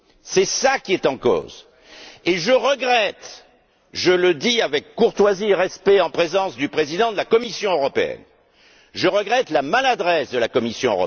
C'est ça qui est en cause. Je regrette je le dis avec courtoisie et respect en présence du président de la Commission européenne la maladresse de la Commission.